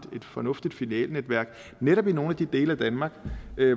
fornuftigt filialnetværk netop i nogle af de dele af danmark